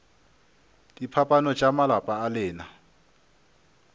diphapano tša malapa a lena